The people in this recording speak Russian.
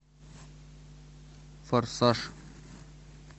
форсаж